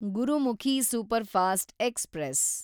Gurmukhi superfast express